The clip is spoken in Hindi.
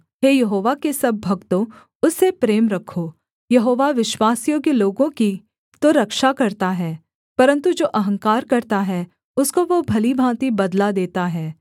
हे यहोवा के सब भक्तों उससे प्रेम रखो यहोवा विश्वासयोग्य लोगों की तो रक्षा करता है परन्तु जो अहंकार करता है उसको वह भली भाँति बदला देता है